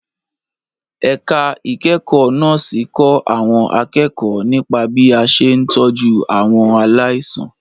Ẹ̀ka ìkẹ́kọ̀ọ́ Nọ́ọ̀sì kọ́ àwọn akẹ́kọ̀ọ́ nípa bí a ṣe ń tọ́jú àwọn aláìsàn.